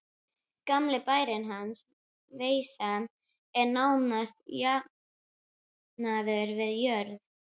Gamli bærinn hans, Veisa, er nánast jafnaður við jörðu.